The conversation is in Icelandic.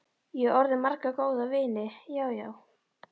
Ég á orðið marga góða vini, já, já.